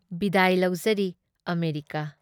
ꯕꯤꯗꯥꯏ ꯂꯧꯖꯔꯤ ꯑꯃꯦꯔꯤꯀꯥ ꯫